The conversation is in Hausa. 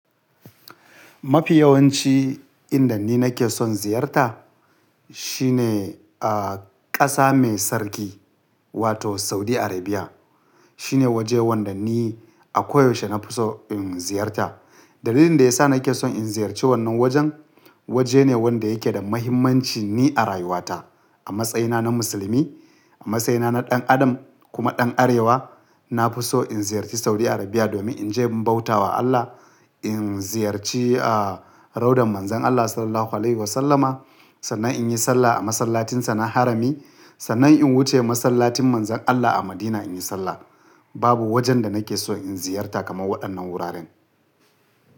Mafi yawanci inda ni nake son ziyarta shine, ah, ƙasa mai sarki wato Saudi Arabia. Shine waje wanda ni a koyaushe na fi so in ziyarta. Dalilin da ya sa nake son in ziyarci wannan wajen, waje ne wanda yake da mahimmanci ni a rayuwata. A matsayina na musulmi, a matsayina na ɗan adam kuma ɗan arewa, na fi so in ziyarci Saudi Arabia domin in je in bauta wa Allah, in ziyarci, ah, raudan Manzon Allah Sallallahu Alaihi Wasallama sannan in yi sallah a masallacin sa na harami, sannan in wuce masallacin Manzon Allah a Madina in yi sallah. Babu wajen da nake so in ziyarta kamar waɗannan wuraren.